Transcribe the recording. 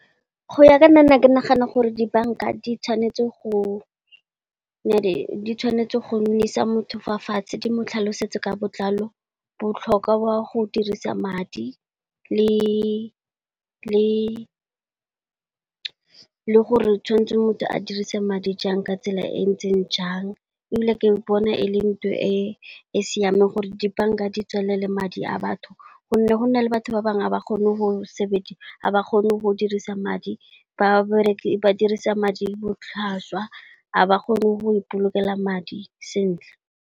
Go ya ka nna ke nagana gore di banka di tshwanetse go nnisa motho fa fatshe di mo tlhalosetse ka botlalo, botlhokwa wa go dirisa madi, le gore tshwanetse motho a dirise madi jang ka tsela e ntseng jang. E bile ke bona e le ntho e e siameng gore di banka di tswalele madi a batho, gonne go na le batho ba bangwe ga ba kgone go dirisa madi, ba dirisa madi botlhaswa ga ba kgone go ipolokela madi sentle.